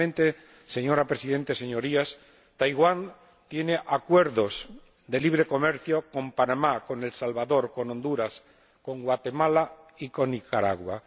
Finalmente, señora Presidenta, Señorías, Taiwán tiene acuerdos de libre comercio con Panamá, con El Salvador, con Honduras, con Guatemala y con Nicaragua.